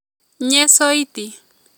Nye soiti